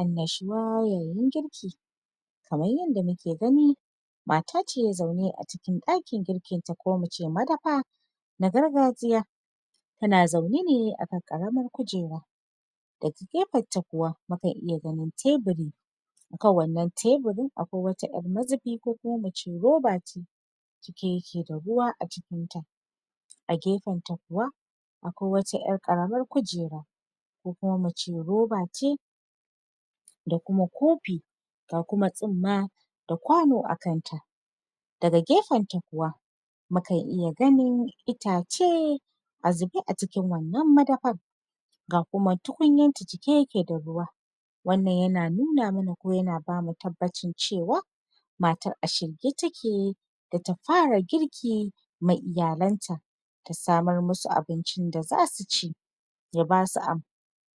Annashuwa yayin girki kamar yanda mu ke gani matace zaune a cikin ɗakin girkinta ko in ce madafa na gargajiya, ta na zaune ne akan ƙaramar kujera daga gefenta kuwa mukan iya ganin teburi akan wannan teburin akwai 'yar mazubi ko mu c roba ce cike ya ke da ruwa acikinta, a gefenta kuwa akwai wata 'yar ƙaramar kujera ko kuma mu ce roba ce da kuma kofi, ga kuma tsumma da kwano akanta, daga gefenta kuwa mukan iya ganin itace a zube a cikin wannan madafar, ga kuma tukunyarta cike ya ke da ruwa, wannan ya nanu mana ko ya na bamu tabbaci ce wa matar a shirye ta ke da ta fara girki ma iyalanta, ta samar ma su abincin da za su ci ya basu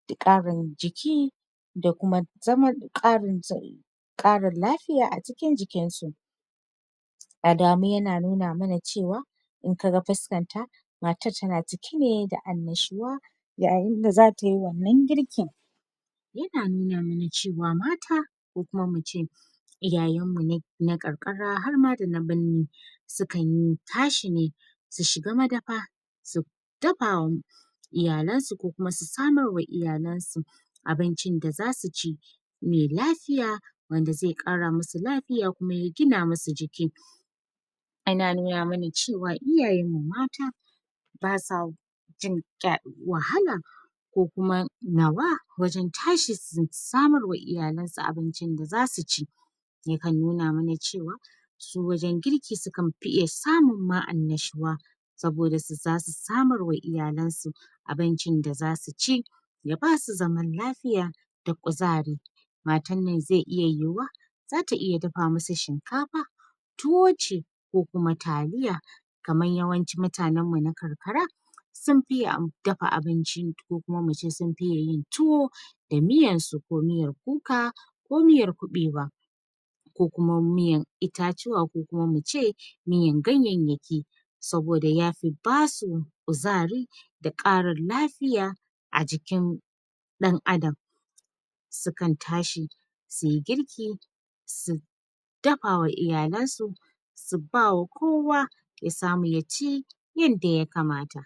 da ƙarin jiki da kuma zaman ƙarin ƙarin lafiya a cikin jikinsu, alamu ya na nuna mana ce wa in kaga fuskarta matar ta na cike ne da annashuwa yayin da za tai wannan girkin, ya na nuna ma na ce wa mata ko kuma mu ce iyayenmmu na karkara harma da na birni sukan tashi ne su shiga madafa su dafa wa iyalansu ko kuma su samar ma iyalansu abincin da za su ci, mai lafiya wanda zai ƙara ma su lafiya kuma ya gina ma su jiki, ana nuna ma na ce wa iyayenmmu mata ba sa jin wahala ko kuma nawa wajen tashi su samarwa iyalansu abincin da za su ci, yakan nuna ma na ce wa su wajen girki sukan fi iya samun ma annashuwa saboda su... za su samarwa iyalansu abincin da za su ci ya basu zaman lafiya da kuzari, matar nan zai iya yiwuwa za ta iya dafa ma su shinkafa, tuwo ce, ko kuma taliya kamar yawancin mutanenmu na karkara sun fiye dafa abinci ko kuma mu ce sun fiye yin i tuwo da miyarsu ko miyar kuka ko miyar kuɓewa, ko kuma miyar itatuwa ko kuma mu ce miyar ganyayyaki saboda yafi ba su kuzari da ƙarin lafiya a jikin ɗan adam, sukan tashi su yi girki su dafa wa iyalansu su ba wa kowa ya samu ya ci yanda ya kamata.